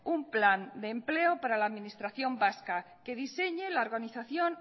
un plan de empleo para la administración vasca que diseñe la organización